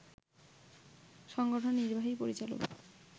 সংগঠনের নির্বাহী পরিচালক